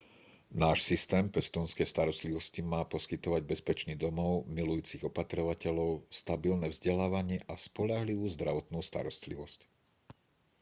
náš systém pestúnskej starostlivosti má poskytovať bezpečný domov milujúcich opatrovateľov stabilné vzdelávanie a spoľahlivú zdravotnú starostlivosť